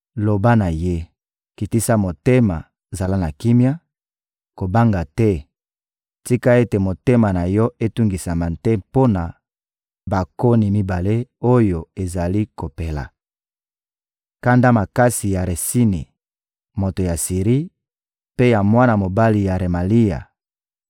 loba na ye: ‹Kitisa motema, zala na kimia, kobanga te; tika ete motema na yo etungisama te mpo na bakoni mibale oyo ezali kopela: kanda makasi ya Retsini, moto ya Siri, mpe ya mwana mobali ya Remalia!